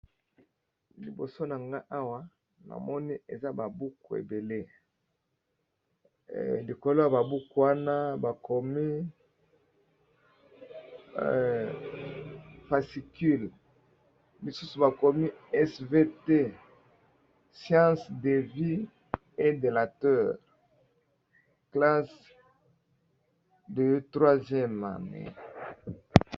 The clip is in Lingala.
Libosonanga awa namoni eza ba buku ebele likolo yaba buku oyo namoni Bakomi fascicule s.v.t science de la vie et de la terre classe de 3ème